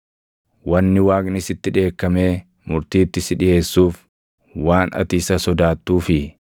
“Wanni Waaqni sitti dheekkamee murtiitti si dhiʼeessuuf waan ati isa sodaattuufii?